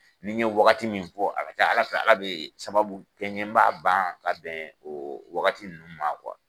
Ni ye waagati min fɔ a ka ca ala fɛ ala bɛ sababu kɛɲɛ ma ban ka bɛn o waagati nunnu ma